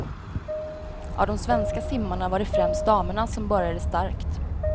Av de svenska simmarna var det främst damerna som började starkt.